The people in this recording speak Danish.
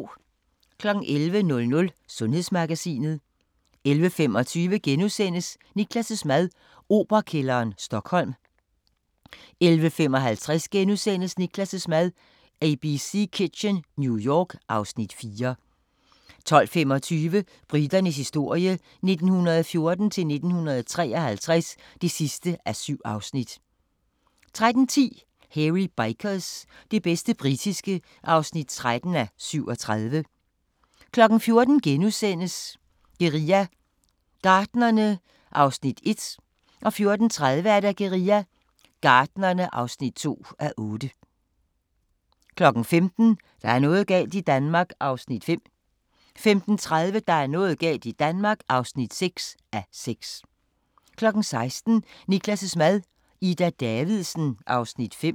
11:00: Sundhedsmagasinet 11:25: Niklas' mad - Operakælderen, Stockholm * 11:55: Niklas' mad – Abc Kitchen, New York (Afs. 4)* 12:25: Briternes historie 1914-1953 (7:7) 13:10: Hairy Bikers – det bedste britiske (13:37) 14:00: Guerilla Gartnerne (1:8)* 14:30: Guerilla Gartnerne (2:8) 15:00: Der er noget galt i Danmark (5:6) 15:30: Der er noget galt i Danmark (6:6) 16:00: Niklas' mad - Ida Davidsen (Afs. 5)